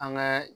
An ka